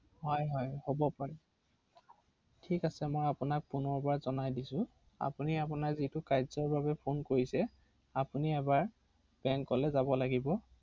পুনৰ এবাৰ ক’ব নেকি যদি বেয়া নাপায় ৷হয়